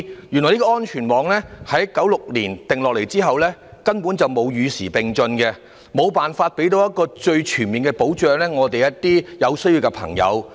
原來這個安全網自1996年訂立後，根本沒有與時並進，無法提供最全面的保障給有需要的人士。